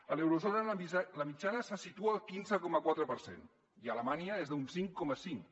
a l’eurozona la mitjana se situa al quinze coma quatre per cent i a alemanya és d’un cinc coma cinc